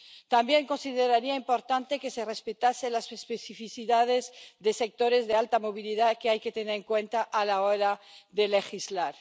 También consideraría importante que se respetasen las especificidades de sectores de alta movilidad, que hay que tener en cuenta a la hora de legislar.